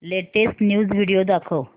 latest news video दाखव